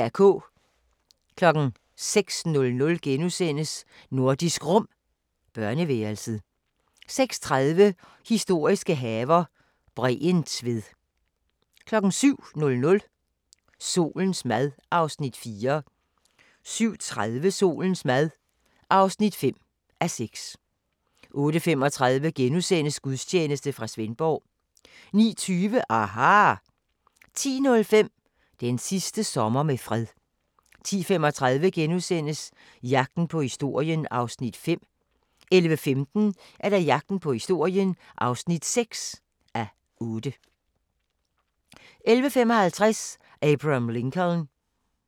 06:00: Nordisk Rum – børneværelset * 06:30: Historiske haver - Bregentved 07:00: Solens mad (4:6) 07:30: Solens mad (5:6) 08:35: Gudstjeneste fra Svendborg * 09:20: aHA! 10:05: Den sidste sommer med fred 10:35: Jagten på historien (5:8)* 11:15: Jagten på historien (6:8) 11:55: Abraham Lincoln